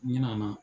Ɲinɛ na